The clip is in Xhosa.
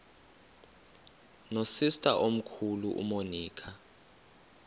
nosister omkhulu umonica